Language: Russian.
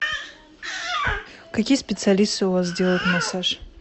какие специалисты у вас делают массаж